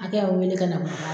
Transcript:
Ni ka u wele ka na